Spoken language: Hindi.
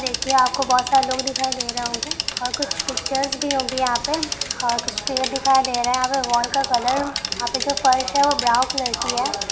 देखिए आपको बहुत सारे लोग दिखाई दे रहे होंगे और कुछ पिक्चर्स भी होगी यहाँ पे । और कुछ पेड़ दिखाई दे रहे हैं। और वॉल का कलर यहाँ पे जो फर्स है वो ब्राउन कलर की है।